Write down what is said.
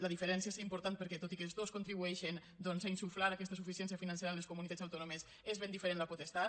la diferència és important perquè tot i que els dos contribueixen doncs a insuflar aquesta suficiència financera a les comunitats autònomes és ben diferent la potestat